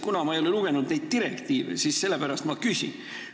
Kuna ma ei ole neid direktiive lugenud, siis ma lihtsalt sellepärast küsin.